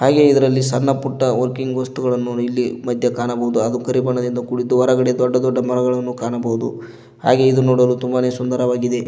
ಹಾಗೆ ಇದರಲ್ಲಿ ಸಣ್ಣ ಪುಟ್ಟ ವರ್ಕಿಂಗ್ ವಸ್ತುಗಳನ್ನು ಇಲ್ಲಿ ಮದ್ಯ ಕಾಣಬಹುದು ಅದು ಕರಿ ಬಣ್ಣದಿಂದ ಕೂಡಿದ್ದು ಹೊರಗಡೆ ದೊಡ್ಡ ದೊಡ್ಡ ಮರಗಳನ್ನು ಕಾಣಬೋದು ಹಾಗೆ ಇದು ನೋಡಲು ತುಂಬಾನೇ ಸುಂದರವಾಗಿದೆ.